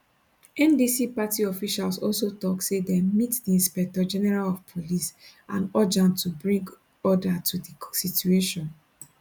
ndc party officials also tok say dem meet di inspector general of police and urge am to bring order to di situation